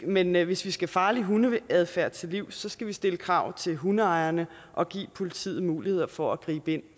men men hvis vi skal farlig hundeadfærd til livs skal vi stille krav til hundeejerne og give politiet muligheder for at gribe ind